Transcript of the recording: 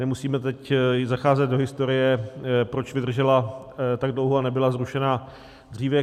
Nemusíme teď zacházet do historie, proč vydržela tak dlouho a nebyla zrušena dříve.